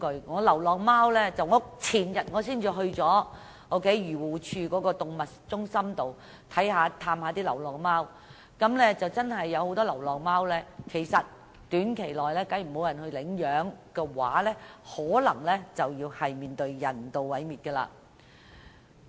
我前天才到訪漁護署的動物中心探望那裏的流浪貓，那裏的流浪貓若短期內無人領養，很可能要遭人道毀滅。